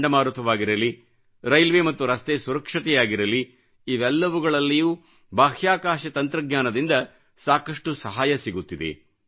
ಚಂಡಮಾರುತವಾಗಿರಲಿ railway ಮತ್ತು ರಸ್ತೆ ಸುರಕ್ಷತೆಯಾಗಿರಲಿಇವೆಲ್ಲವುಗಳಲ್ಲಿಯೂ ಬಾಹ್ಯಾಕಾಶ ತಂತ್ರಜ್ಞಾನದಿಂದ ಸಾಕಷ್ಟು ಸಹಾಯ ಸಿಗುತ್ತಿದೆ